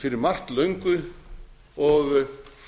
fyrir margt löngu og